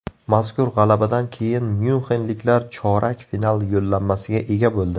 Mazkur g‘alabadan keyin myunxenliklar chorak final yo‘llanmasiga ega bo‘ldi.